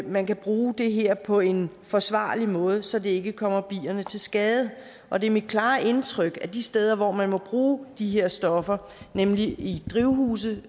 man kan bruge det her på en forsvarlig måde så det ikke kommer bierne til skade og det er mit klare indtryk at det de steder hvor man må bruge de her stoffer nemlig i drivhuse